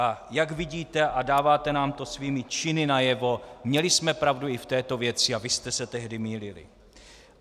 A jak vidíte a dáváte nám to svými činy najevo, měli jsme pravdu i v této věci a vy jste se tehdy mýlili.